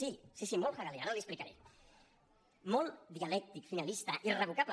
sí sí molt hegelià ara li ho expli·caré molt dialèctic finalista irrevocable